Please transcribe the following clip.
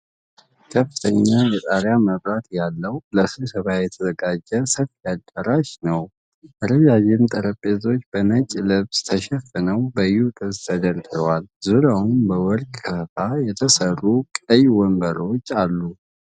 ከፍተኛ የጣሪያ መብራት ያለው፣ ለስብሰባ የተዘጋጀ ሰፊ አዳራሽ ነው። ረዣዥም ጠረጴዛዎች በነጭ ልብስ ተሸፍነው በዩ-ቅርጽ ተደርድረዋል። ዙሪያውን በወርቅ ክፈፍ የተሰሩ ቀይ ወንበሮች አሉ።